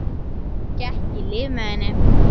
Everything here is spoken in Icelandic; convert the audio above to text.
Gekk í lið með henni.